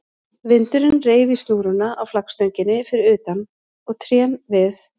Vindurinn þreif í snúruna á flaggstönginni fyrir utan og trén við